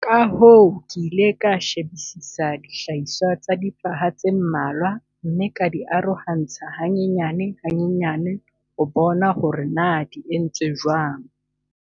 Ka hoo ke ile ka shebisisa dihlahiswa tsa difaha tse mmalwa mme ka di arohantsha hanyane-hanyane ho bona hore na di entswe jwang.